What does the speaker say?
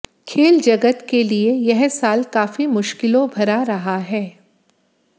खेल जगत के लिये यह साल काफी मुश्किलों भरा रहा है